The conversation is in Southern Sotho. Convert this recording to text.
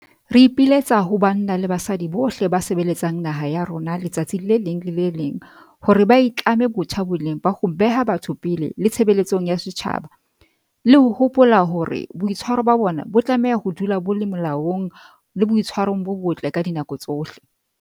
Re ipiletsa ho banna le basadi bohle ba sebeletsang naha ya rona letsatsi le leng le le leng hore ba itlame botjha boleng ba ho beha batho pele le tshebeletsong ya setjhaba, le ho hopola hore boitshwaro ba bona bo tlameha ho dula bo le molaong le boitshwarong bo botle ka dinako tsohle.